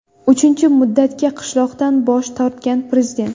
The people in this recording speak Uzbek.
Uchinchi muddatga qolishdan bosh tortgan prezident.